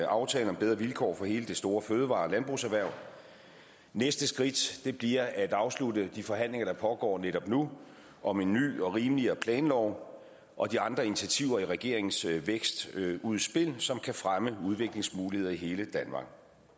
aftale om bedre vilkår for hele det store fødevare og landbrugserhverv næste skridt bliver at afslutte de forhandlinger der pågår netop nu om en ny og rimeligere planlov og de andre initiativer i regeringens vækstudspil som kan fremme udviklingsmuligheder i hele danmark